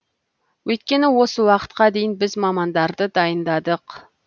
өйткені осы уақытқа дейін біз мамандарды дайындадық